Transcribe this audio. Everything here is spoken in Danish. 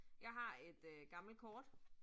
Jeg har et øh gammelt kort